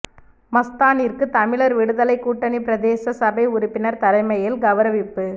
மஸ்தானிற்கு தமிழர் விடுதலைக் கூட்டனி பிரதேச சபை உறுப்பினர் தலைமையில் கௌரவிப்பு